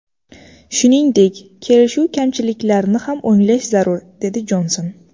Shuningdek, kelishuv kamchiliklarini ham o‘nglash zarur”, dedi Jonson.